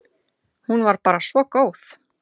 Hún var bara svo góð.